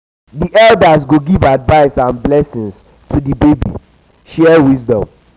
di elders go give advice and blessings to di baby share wisdom.